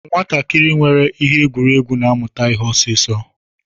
Nwatakịrị nwere ihe egwuregwu na-amụta ihe ọsọ ọsọ.